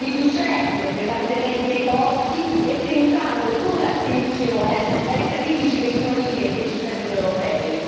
riducendo pesantemente i costi e pensando con attenzione ai sacrifici che sono richiesti ai cittadini europei.